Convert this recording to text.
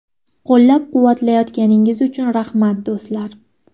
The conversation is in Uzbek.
Qo‘llab-quvvatlayotganingiz uchun rahmat, do‘stlar.